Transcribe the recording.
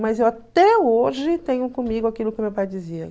Mas eu até hoje tenho comigo aquilo que meu pai dizia.